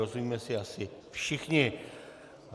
Rozumíme si asi všichni.